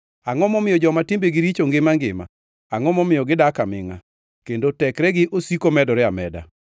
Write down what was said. Angʼo momiyo joma timbegi richo ngima angima, angʼo momiyo gidak amingʼa, kendo tekregi osiko medore ameda?